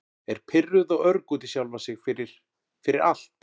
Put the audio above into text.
Er pirruð og örg út í sjálfa sig fyrir- fyrir allt.